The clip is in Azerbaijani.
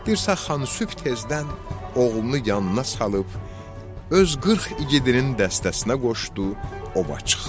Dirsə xan sübh tezdən oğlunu yanına salıb, öz qırx igidinin dəstəsinə qoşdu, ova çıxdı.